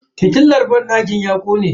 Fitilar banɗakin ya kone.